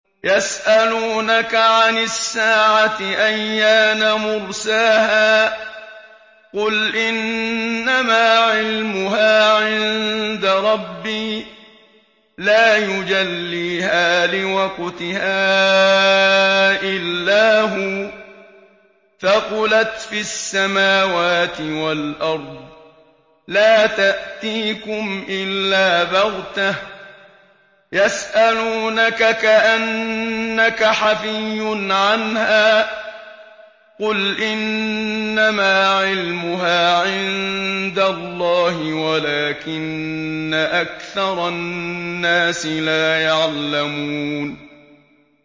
يَسْأَلُونَكَ عَنِ السَّاعَةِ أَيَّانَ مُرْسَاهَا ۖ قُلْ إِنَّمَا عِلْمُهَا عِندَ رَبِّي ۖ لَا يُجَلِّيهَا لِوَقْتِهَا إِلَّا هُوَ ۚ ثَقُلَتْ فِي السَّمَاوَاتِ وَالْأَرْضِ ۚ لَا تَأْتِيكُمْ إِلَّا بَغْتَةً ۗ يَسْأَلُونَكَ كَأَنَّكَ حَفِيٌّ عَنْهَا ۖ قُلْ إِنَّمَا عِلْمُهَا عِندَ اللَّهِ وَلَٰكِنَّ أَكْثَرَ النَّاسِ لَا يَعْلَمُونَ